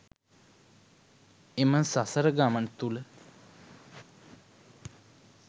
එම සසර ගමන තුළ